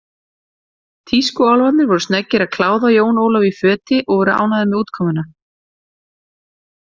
Tískuálfarnir voru snöggir að kláða Jón Ólaf í föti og voru ánægðir með útkomuna.